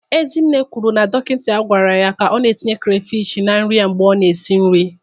Ezinne kwuru na dọkịta gwara ya ka ọ na-etinyekwa crayfish na nri ya mgbe ọ na-esi nri.